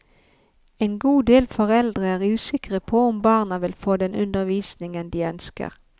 En god del foreldre er usikre på om barna vil få den undervisningen de ønsker.